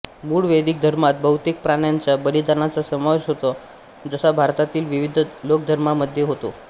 मूळ वैदिक धर्मात बहुतेक प्राण्यांच्या बलिदानाचा समावेश होता जसा भारतातील विविध लोकधर्मामध्ये होता